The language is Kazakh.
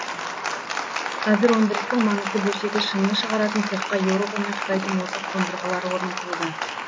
қазір өндірістің маңызды бөлшегі шыны шығаратын цехқа еуропа мен қытайдың озық қондырғылары орнатылуда